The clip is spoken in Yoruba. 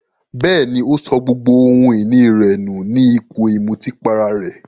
Bẹ́ẹ̀ní, ó sọ gbogbo ohun ìní rẹ̀ nù ní ipò ìmutípara rẹ̀.